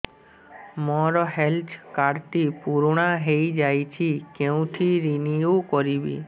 ମୋ health card ଟି ପୁରୁଣା ହେଇଯାଇଛି କେଉଁଠି ରିନିଉ କରିବି